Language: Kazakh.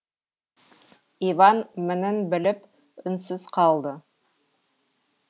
иван мінін біліп үнсіз қалды